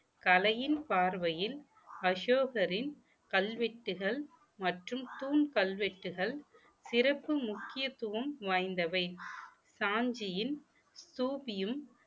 கலையின் பார்வையில் அசோகரின் கல்வெட்டுகள் மற்றும் தூண் கல்வெட்டுகள் சிறப்பு முக்கியத்துவம் வாய்ந்தவை சாஞ்சியின் தூபியும்